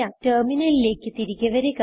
ടെർമിനലിലേക്ക് തിരികെ വരുക